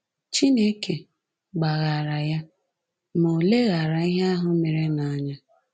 Chineke gbaghaara ya, ma ò leghaara ihe ahụ merenụ anya